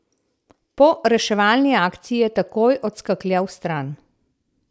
Po reševalni akciji je takoj odskakljal stran.